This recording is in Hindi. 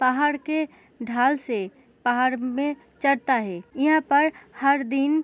पहाड़ के ढाल से पहाड़ में चढ़ता है यहाँ पर हर दिन --